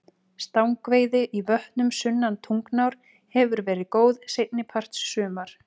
Stangveiði í vötnum sunnan Tungnár hefur verið góð seinni part sumars.